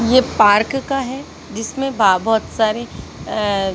ये पार्क का है जिसमें बा बहोत सारे अ--